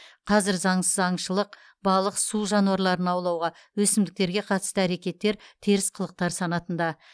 қазір заңсыз аңшылық балық су жануарларын аулауға өсімдіктерге қатысты әрекеттер теріс қылықтар санатында